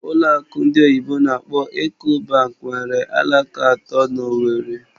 Ụlọ akụ ndị oyibo n'akpọ "Eco bank" nwere alaka atọ na Owerri